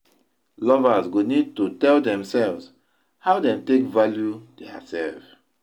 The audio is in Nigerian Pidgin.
lovers go need to tell themselves how dem take value theirself